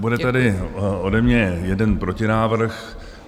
Bude tady ode mě jeden protinávrh.